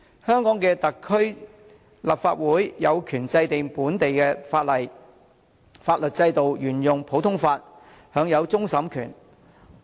香港特區立法會有權制定本地的法例，法律制度沿用普通法，享有終審權。